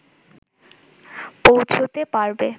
পৌঁছুতে পারবে